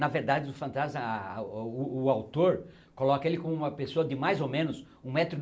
Na verdade, o fantasma ah ah ah o o o autor coloca ele como uma pessoa de mais ou menos um